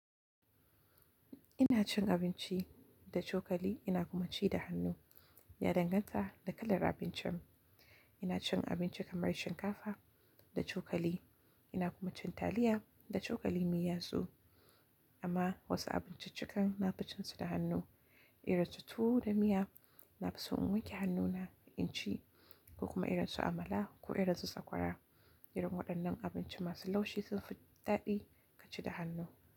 Ina cin abinci da cokali, ina kuma ci da hannu. Ya danganta da kalar abincin. Ina cin abinci kamar shinkafa da cokali, ina kuma cin taliya da cokali maiyatsu amma wasu abinciccikan na bacin su da hannu. Irinsu tuwo da miya na fi son in wanke hannuna in ci ko kuma irin su amala ko irin su tsakwara. Irin waɗannan abinci masu laushi sun fi daɗi ka ci da hannu.